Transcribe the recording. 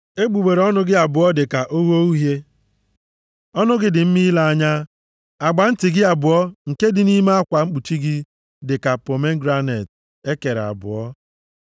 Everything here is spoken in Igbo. Egbugbere ọnụ gị abụọ dị ka ogho uhie. Ọnụ gị dị mma ile anya. Agba nti gị abụọ nke dị nʼime akwa mkpuchi gị dị ka pomegranet + 4:3 Pomegranet na-acha uhie uhie. e kere abụọ.